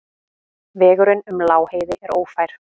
Vegurinn um Lágheiði er ófær.